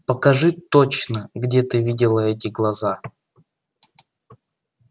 покажи точно где ты видела эти глаза